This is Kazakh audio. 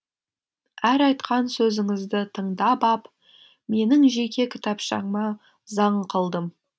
әр айтқан сөзіңізді тыңдап ап менің жеке кітапшама заң қылдым